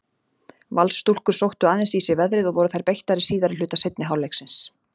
Valsstúlkur sóttu aðeins í sig veðrið og voru þær beittari síðari hluta seinni hálfleiksins.